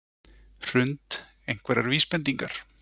Hrund: Einhverjar vísbendingar?